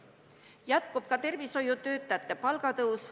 Jätkub ka tervishoiutöötajate palga tõus.